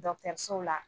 la